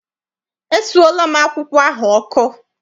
Esuola m akwụkwọ ahụ ọkụ.